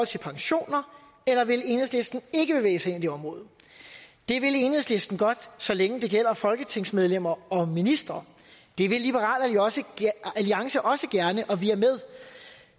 til pensioner eller vil enhedslisten ikke bevæge sig ind på det område det vil enhedslisten godt så længe det gælder folketingsmedlemmer og ministre det vil liberal alliance også gerne og vi er